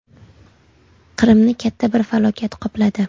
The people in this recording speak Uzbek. Qrimni katta bir falokat qopladi.